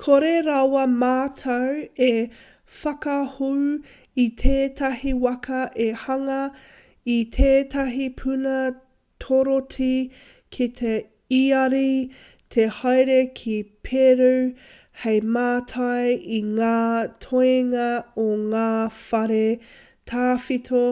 kore rawa mātou e whakahou i tētahi waka e hanga i tētahi puna torotī ki te iāri te haere ki peru hei mātai i ngā toenga o ngā whare tawhito